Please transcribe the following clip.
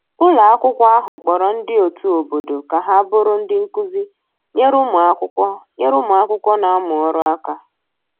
ụlọ akwụkwo ahụ kporo ndi otu obodo ka ha bụrụ ndi nkụzi nyere ụmụ akwụkwo nyere ụmụ akwụkwo n'amu ọrụ aka